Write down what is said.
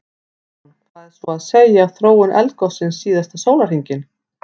Kristján: Hvað er svo að segja af þróun eldgossins síðasta sólarhringinn?